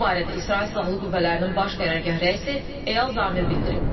Bu barədə İsrail Silahlı Qüvvələrinin Baş Qərargah rəisi Eyal Zamir bildirib.